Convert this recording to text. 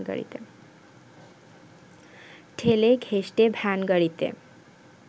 ঠেলে ঘেঁষটে ভ্যানগাড়িতে